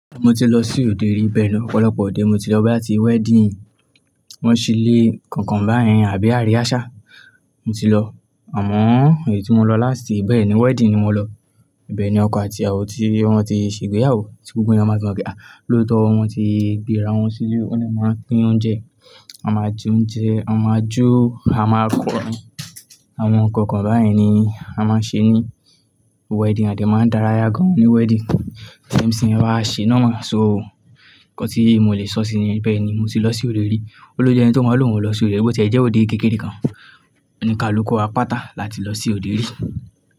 Mo ti lọ sí òde rí bẹ́ẹ̀ ni ọ̀pọ̀lọpọ̀ ọ̀dẹ mo ti lọ bí à ti wedding wọ́n ṣi lé kọ̀nkọ̀n báyẹn àbí àríásà mo ti lọ. Àmọ́ èyí tí mo lọ lásti bẹ́ẹ̀ ni wedding ni mo lọ. Bẹ́ẹ̀ ni ọkọ àti ìyàwó tí wọ́n ti ṣe ìgbéyàwó tí gbogbo eeyan máa tí mọ pe lóòótọ́ wọ́n ti gbéra wọn sílé wọ́n dẹ máa pín oúnjẹ. A máa jẹ oúnjẹ, a máa jó, a máa kọrin. Àwọn nǹkan kan báyẹn ni a máa ń ṣe ní wedding àdẹ máa ń dárayá gan-an ní wedding. MC wa ṣe normal so ńkan tí mo lè sọ sí ní bẹ́ẹ̀ ni mo ti lọ sí òde rí. Ó ló ju ẹni tí ó máa ló wọn lọ sí òde rí bó ti ẹ̀ jẹ́ òde kékeré kan, òní kalú ku wà páta láti lọ sí òde rí.